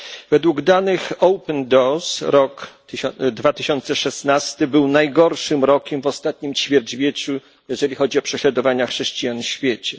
Według danych Open Doors rok 2016 był najgorszym rokiem w ostatnim ćwierćwieczu, jeżeli chodzi o prześladowania chrześcijan w świecie.